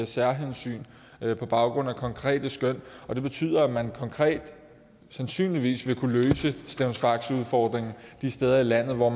særhensyn på baggrund af konkrete skøn og det betyder at man sandsynligvis konkret vil kunne løse stevns faxe udfordringen de steder i landet hvor